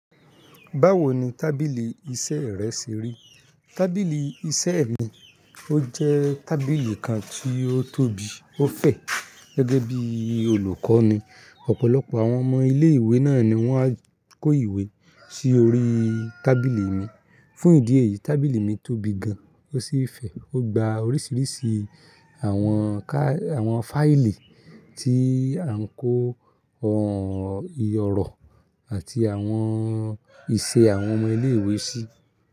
Báwo ni tábìlì iṣẹ́ rẹ ṣe rí? Tábìlì iṣẹ́ mi, ó jẹ́ tábìlì kan tí ó tóbi, ó fẹ̀, gẹ́gẹ́ bí i olùkọ́ ni, ọ̀pọ̀lọpọ̀ àwọn ọmọ ilé ìwé náà ni wọ́n á kó ìwé sí orí tábìlì mi. Fún ìdí èyí, tábìlì mi tóbi gan, ó sì fẹ̀. Ó gba oríṣiríṣi àwọn ká, àwọn fáìlì tí a ń kó ohun ìyọ̀rọ̀ àti àwọn ìṣe àwọn ọmọ ilé ìwé sí.